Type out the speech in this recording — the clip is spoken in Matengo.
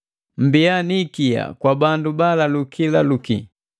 Mmbiya ni ikia kwa bandu baalaluki laluki;